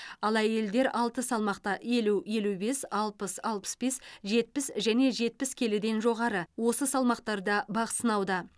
ал әйелдер алты салмақта елу елу бес алпыс алпыс бес жетпіс және жетпіс келіден жоғары осы салмақтарда бақ сынауда